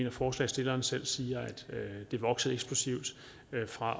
at forslagsstilleren selv siger at det er vokset eksplosivt fra